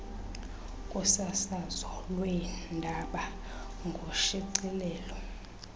kusasazo lweendaba ngoshicilelo